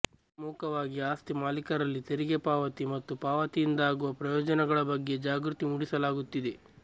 ಪ್ರಮುಖವಾಗಿ ಆಸ್ತಿ ಮಾಲೀಕರಲ್ಲಿ ತೆರಿಗೆ ಪಾವತಿ ಮತ್ತು ಪಾವತಿಯಿಂದಾಗುವ ಪ್ರಯೋಜನಗಳ ಬಗ್ಗೆ ಜಾಗೃತಿ ಮೂಡಿಸಲಾಗುತ್ತಿದೆ